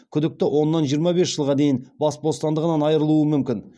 күдікті оннан жиырма бес жылға дейін бас бостандығынан айырылуы мүмкін